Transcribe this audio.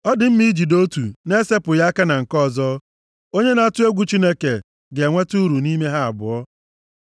Ọ dị mma ijide otu na-esepụghị aka na nke ọzọ, onye na-atụ egwu Chineke ga-enweta uru nʼime ha abụọ.